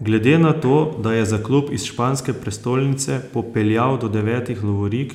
Glede na to, da je za klub iz španske prestolnice popeljal do devetih lovorik,